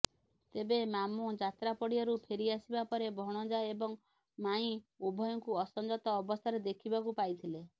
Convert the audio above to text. ତେବେ ମାମୁଁ ଯାତ୍ରା ପଡ଼ିଆରୁ ଫେରିଆସିବା ପରେ ଭଣଜା ଏବଂ ମାଇଁ ଉଭୟଙ୍କୁ ଅସଞ୍ଜତ ଅବସ୍ଥାରେ ଦେଖିବାକୁ ପାଇଥିଲେ